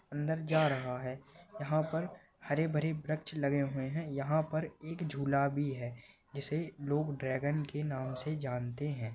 अंदर जा रहा है यहाँ पर हरे भरे वृक्ष लगे हुए है एक झूला भी है जिसे लोग ड्रैगन के नाम से जानते है।